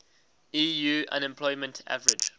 eu unemployment average